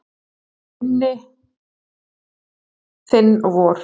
Þau eru minn, þinn og vor.